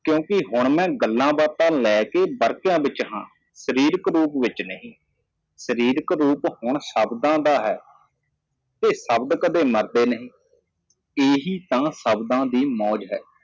ਕਿਉਂਕਿ ਹੁਣ ਮੈਂ ਚੀਜ਼ਾਂ ਬਾਰੇ ਉਲਝਣ ਵਿਚ ਹਾਂ ਬੇਰਹਿਮ ਵਿੱਚ ਨਹੀਂ ਅਤੇ ਸ਼ਬਦ ਕਦੇ ਨਹੀਂ ਮਰਦੇ ਇਹ ਸਿਰਫ਼ ਸ਼ਬਦਾਂ ਦਾ ਮਜ਼ਾਕ ਹੈ